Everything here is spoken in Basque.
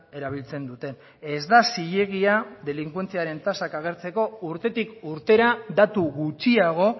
erabiltzen duten ez da zilegia delinkuentziaren tasak agertzeko urtetik urtera datu gutxiago